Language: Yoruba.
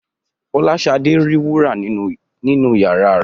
Fọláṣadé ri wúrà nínu iyàrá rẹ.